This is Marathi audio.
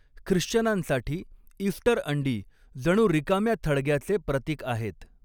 ख्रिश्चनांसाठी, इस्टर अंडी जणू रिकाम्या थडग्याचे प्रतीक आहेत.